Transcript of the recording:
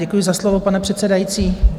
Děkuji za slovo, pane předsedající.